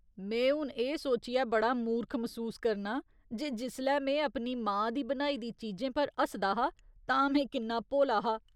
में हून एह् सोचियै बड़ा मूर्ख मसूस करनां जे जिसलै में अपनी मां दी बनाई दी चीजें पर हसदा हा तां में किन्ना भोला हा।